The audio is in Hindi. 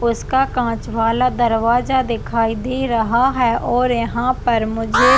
उसका कांच वाला दरवाजा दिखाई दे रहा है और यहाँ पर मुझे--